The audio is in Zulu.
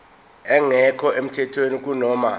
engekho emthethweni kunoma